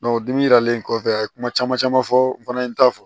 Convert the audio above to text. dimi yiralen kɔfɛ a ye kuma caman caman fɔ n fana ye n ta fɔ